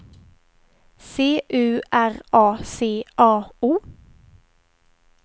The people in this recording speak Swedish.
C U R A C A O